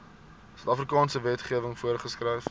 suidafrikaanse wetgewing voorgeskryf